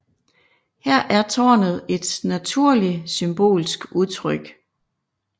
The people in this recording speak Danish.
Her er tårnet et naturlig symbolsk udtryk